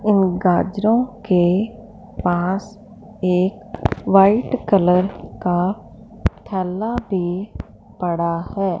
इन गाजरों के पास एक वाइट कलर का थेला भी पड़ा है।